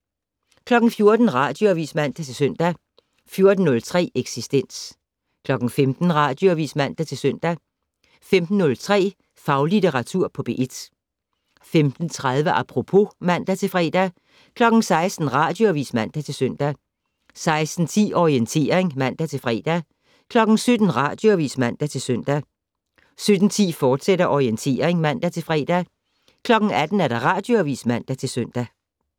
14:00: Radioavis (man-søn) 14:03: Eksistens 15:00: Radioavis (man-søn) 15:03: Faglitteratur på P1 15:30: Apropos (man-fre) 16:00: Radioavis (man-søn) 16:10: Orientering (man-fre) 17:00: Radioavis (man-søn) 17:10: Orientering, fortsat (man-fre) 18:00: Radioavis (man-søn)